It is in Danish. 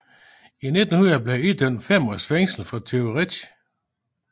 I 1900 blev han idømt fem års fængsel for tyveri